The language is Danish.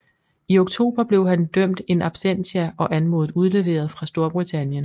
I oktober blev han dømt in absentia og anmodet udleveret fra Storbritannien